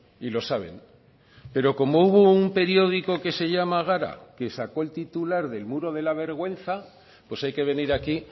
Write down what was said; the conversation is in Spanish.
y lo saben pero como hubo un periódico que se llama gara que sacó el titular del muro de la vergüenza pues hay que venir aquí